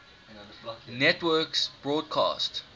networks broadcast